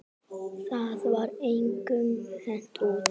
Það var engum hent út.